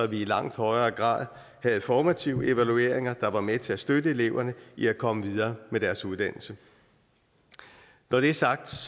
vi i langt højere grad havde formative evalueringer der var med til at støtte eleverne i at komme videre med deres uddannelse når det er sagt